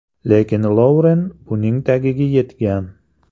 Lekin Louren buning tagiga yetgan.